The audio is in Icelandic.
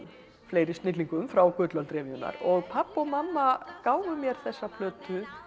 fleiri snillingum frá gullöld og pabbi og mamma gáfu mér þessa plötu